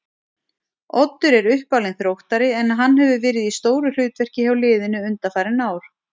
Oddur er uppalinn Þróttari en hann hefur verið í stóru hlutverki hjá liðinu undanfarin ár.